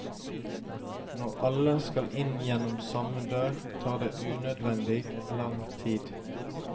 Når alle skal inn gjennom samme dør, tar det unødvendig lang tid.